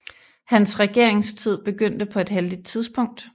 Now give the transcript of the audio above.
Hans regeringstid begyndte på et heldigt tidspunkt